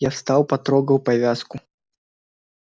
я встал потрогал повязку